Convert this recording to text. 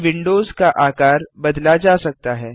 इन windows का आकार बदला जा सकता है